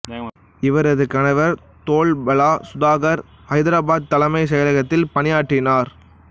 இவரது கணவர் தோர்பலா சுதாகர் ஐதாராபாத் தலைமைச் செயலகத்தில் பணியாற்றினார்